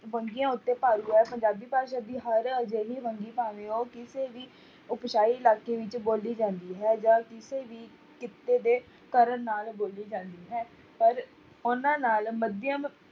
ਵੰਨਗੀਆਂ ਉੱਤੇ ਹੈ, ਪੰਜਾਬੀ ਭਾਸ਼ਾ ਦੀ ਹਰ ਅਜਿਹੀ ਵੰਨਗੀ ਭਾਵੇਂ ਉਹ ਕਿਸੇ ਵੀ ਇਲਾਕੇ ਵਿੱਚ ਬੋਲੀ ਜਾਂਦੀ ਹੈ ਜਾਂ ਕਿਸੇ ਵੀ ਕਿੱਤੇ ਦੇ ਕਰਨ ਨਾਲ ਬੋਲੀ ਜਾਂਦੀ ਹੈ, ਪਰ ਉਹਨਾਂ ਨਾਲ ਮੱਧਿਅਮ